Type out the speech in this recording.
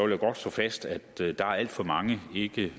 jeg godt slå fast at der er alt for mange